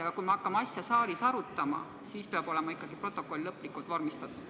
Aga kui me hakkame teemat saalis arutama, siis peab protokoll olema ikkagi lõplikult vormistatud.